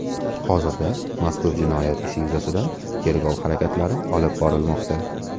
Hozirda mazkur jinoyat ishi yuzasidan tergov harakatlari olib borilmoqda.